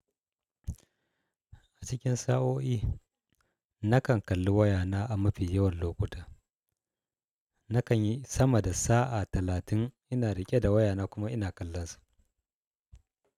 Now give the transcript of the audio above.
A cikin sa'o'i, na kan kalli wayana a mafi yawan lokuta, na kan yi sama da sa'a talatin ina riƙe da wayana kuma ina kallonsa.